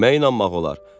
Kimə inanmaq olar?